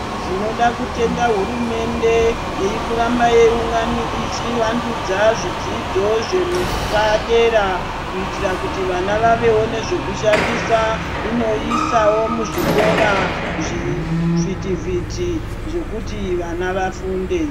Tinoda kutenda hurumende irikuramba yeiungani ichivandudza zvidzidzo zvepadera kuitira kuti vana vaonewo zvekushandisa .Inoisawo muzvikora zvivhitivhiti zvekuti vana vafunde .